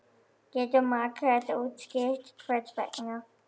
Getur Margrét útskýrt hvers vegna?